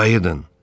Qayıdın.